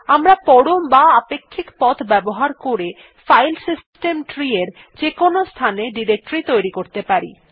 আমরা পরম বা আপেক্ষিক পথ ব্যবহার করে ফাইল সিস্টেম tree এর যেকোনো স্থানে ডিরেক্টরী তৈরী করতে পারি